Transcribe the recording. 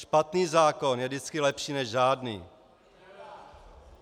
Špatný zákon je vždycky lepší než žádný.